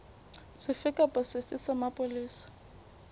sefe kapa sefe sa mapolesa